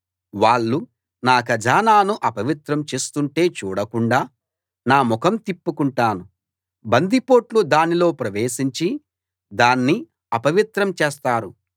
వాళ్ళు నా ఖజానాను అపవిత్రం చేస్తుంటే చూడకుండా నా ముఖం తిప్పుకుంటాను బందిపోట్లు దానిలో ప్రవేశించి దాన్ని అపవిత్రం చేస్తారు